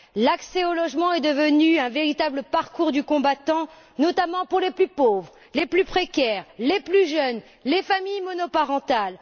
L'accès au logement est devenu un véritable parcours du combattant, notamment pour les plus pauvres, les plus précaires, les plus jeunes et les familles monoparentales.